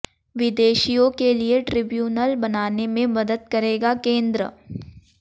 विदेशियों के लिए ट्रिब्यूनल बनाने में मदद करेगा केंद्र